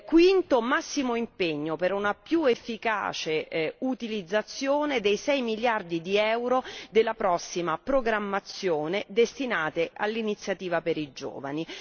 Quinto massimo impegno per una più efficace utilizzazione dei 6 miliardi di euro della prossima programmazione destinati all'Iniziativa per i giovani.